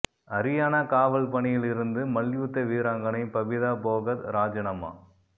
அரியானா காவல் பணியில் இருந்து மல்யுத்த வீராங்கனை பபிதா போகத் ராஜினாமா